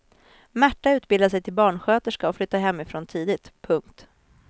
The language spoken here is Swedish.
Märta utbildade sig till barnsköterska och flyttade hemifrån tidigt. punkt